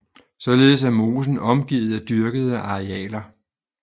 Således er mosen omgivet af dyrkede arealer